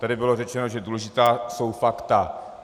Tady bylo řečeno, že důležitá jsou fakta.